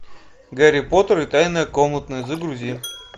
гарри поттер и тайная комната загрузи